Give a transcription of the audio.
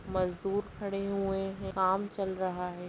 मजदुर खड़े हुए हैं काम चल रहा है।